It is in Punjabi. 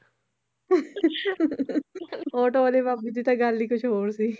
ਆਟੋ ਵਾਲੇ ਬਾਬੇ ਦੀ ਤਾਂ ਗੱਲ ਹੀ ਕੁਛ ਹੋਰ ਸੀ